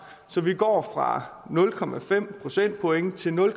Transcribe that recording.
så vi går fra nul procentpoint til nul